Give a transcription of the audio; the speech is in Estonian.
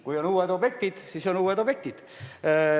Kui on uued objektid, siis on uued objektid.